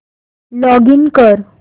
login कर